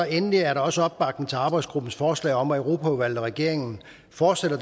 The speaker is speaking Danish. endelig er der også opbakning til arbejdsgruppens forslag om at europaudvalget og regeringen fortsætter